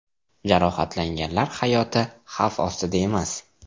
Jarohatlanganlar hayoti xavf ostida emas.